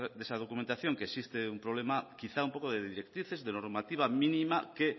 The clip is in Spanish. de esa documentación que existe un problema quizá un poco de directrices de normativa mínima que